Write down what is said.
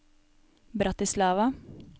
Bratislava